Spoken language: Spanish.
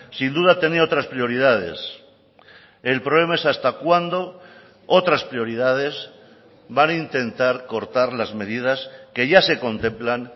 sin duda tenía otras prioridades el problema es hasta cuándo otras prioridades van a intentar cortar las medidas que ya se contemplan